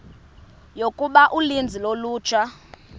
yokuba uninzi lolutsha